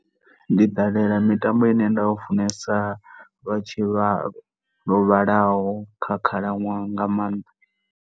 Ndi ṱalela mitambo ine nda u funesa, lwa tshivha, lwo vhalaho kha khalaṅwaha nga maanḓa.